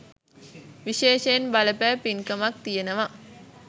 විශේෂයෙන් බලපෑ පින්කමක් තියෙනවා.